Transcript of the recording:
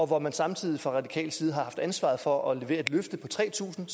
hvor man samtidig fra radikal side har haft ansvaret for at levere et løfte på tre tusind